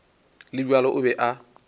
le bjalo o be a